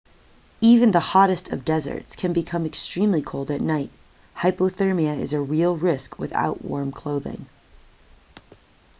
even the hottest of deserts can become extremely cold at night hypothermia is a real risk without warm clothing